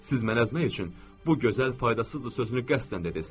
Siz məni əzmək üçün bu gözəl faydasız sözünü qəsdən dediniz.